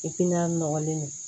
nɔgɔlen don